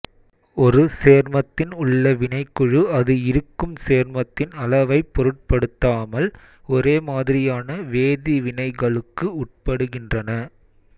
ஒரு சேர்மத்தின் உள்ள வினைக்குழு அது இருக்கும் சேர்மத்தின் அளவைப் பொருட்படுத்தாமல் ஒரே மாதிரியான வேதி வினைகளுக்கு உட்படுகின்றன